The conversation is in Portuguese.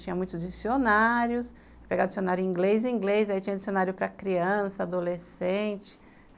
Tinha muitos dicionários, pegar dicionário inglês e inglês, aí tinha dicionário para criança, adolescente.